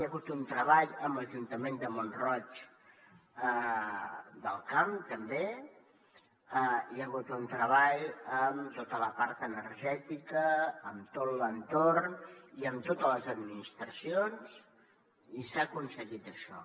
hi ha hagut un treball amb l’ajuntament de mont roig del camp també hi ha hagut un treball amb tota la part energètica amb tot l’entorn i amb totes les administracions i s’ha aconseguit això